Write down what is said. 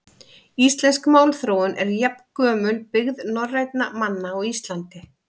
Íslensk málþróun er jafngömul byggð norrænna manna á Íslandi.